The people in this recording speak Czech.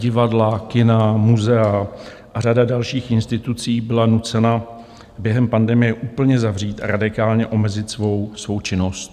Divadla, kina, muzea a řada dalších institucí byla nucena během pandemie úplně zavřít a radikálně omezit svou činnost.